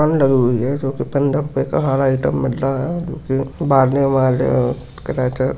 जो कि पन्द्रह रूपये का हर आइटम मिल रहा है